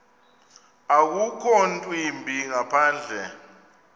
akukho ntwimbi ngaphandle